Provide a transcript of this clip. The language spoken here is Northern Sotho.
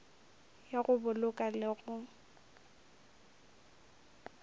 ya go boloka le go